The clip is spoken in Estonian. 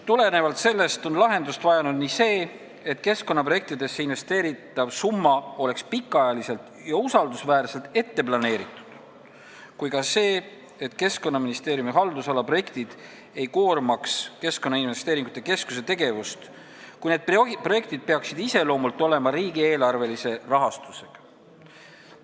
Tulenevalt sellest on lahendust vajanud nii see, et keskkonnaprojektidesse investeeritav summa oleks pikaajaliselt ja usaldusväärselt ette planeeritud, kui ka see, et Keskkonnaministeeriumi haldusala projektid ei koormaks Keskkonnainvesteeringute Keskuse tegevust, kui need projektid peaksid iseloomult olema riigieelarvelise rahastusega.